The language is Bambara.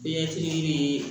Bɛɛ fitiinin bɛ